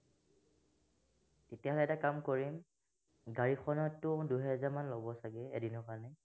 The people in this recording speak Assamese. তেতিয়া হলে এটা কাম কৰিম গাড়ীখনটো দুই হেজাৰ মান লব এদিনৰ কাৰণে